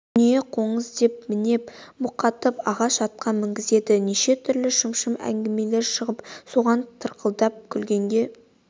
дүние қоңыз деп мінеп мұқатып ағаш атқа мінгізеді неше түрлі шымшыма әңгіме шығарып соған тарқылдап күлгенге